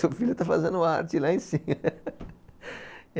Seu filho está fazendo arte lá em cima.